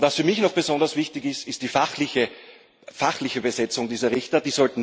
Und was für mich noch besonders wichtig ist, ist die fachliche Besetzung dieser Richter.